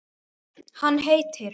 Hann heitir